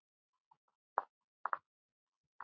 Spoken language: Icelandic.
Ég kom fyrir tveimur dögum.